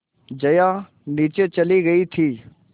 जया नीचे चली गई थी